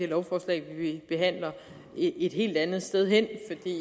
lovforslag vi behandler et helt andet sted hen